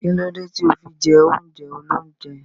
Kílódé tí o fi jẹ oúnjẹ óloúnjẹ?